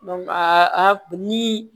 ni